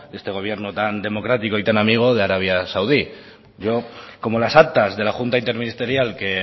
este gobierno tan democrático y tan amigo de arabia saudí como las actas de la junta interministerial que